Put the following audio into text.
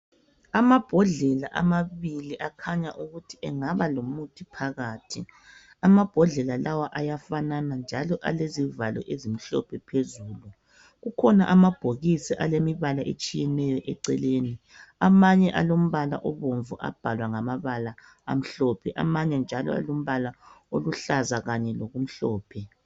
Amabhodlela amabili akhanya ukuthi engaba lomuthi phakathi, amabhodlela lawa ayafanana njalo alezivalo ezimhlophe phezulu kukhona amabhokisi alemibala etshiyeneyo eceleni amanye alombala obomvu abhalwa ngamabala amhlophe amanye njalo alombala oluhlaza kanye lokumhlophe.